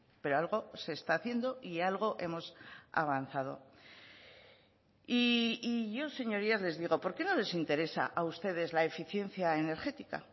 pero algo se está haciendo y algo hemos avanzado y yo señorías les digo por qué no les interesa a ustedes la eficiencia energética